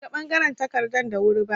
Ban ga bangaren takardan da wuri ba.